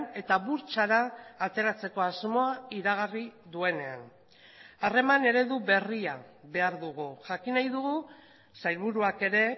eta burtsara ateratzeko asmoa iragarri duenean harreman eredu berria behar dugu jakin nahi dugu sailburuak ere